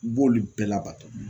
N b'oli bɛɛ labato